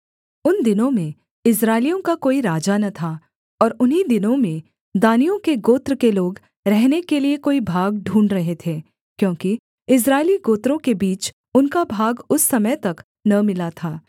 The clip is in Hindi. उन दिनों में इस्राएलियों का कोई राजा न था और उन्हीं दिनों में दानियों के गोत्र के लोग रहने के लिये कोई भाग ढूँढ़ रहे थे क्योंकि इस्राएली गोत्रों के बीच उनका भाग उस समय तक न मिला था